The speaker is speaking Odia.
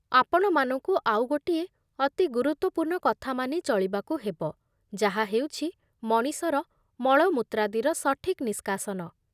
ଆପଣମାନଙ୍କୁ ଆଉ ଗୋଟିଏ ଅତି ଗୁରୁତ୍ୱପୂର୍ଣ୍ଣ କଥା ମାନି ଚଳିବାକୁ ହେବ, ଯାହା ହେଉଛି ମଣିଷର ମଳମୂତ୍ରାଦିର ସଠିକ୍ ନିଷ୍କାସନ